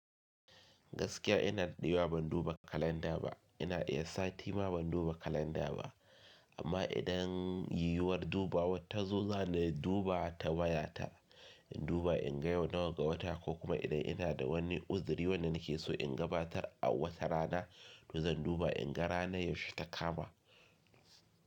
Gaskiya ina daɗewa ban duba kalenda ba. Ina iya sati ma ban duba kalenda ba, amma idan yiwuwar dubawa ta zo, zan duba ta wayata. In duba in ga yau nawa ga wata ko kuma idan ina da wani uziri wanda nake so in gabatar a wata rana, to zan duba in ga ranar yaushe ta kama.